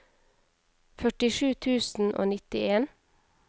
førtisju tusen og nittien